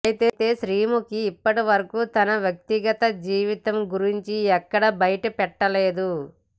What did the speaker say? అయితే శ్రీముఖి ఇప్పటి వరకు తన వ్యక్తిగత జీవితం గురించి ఎక్కడ బయటపెట్టలేదు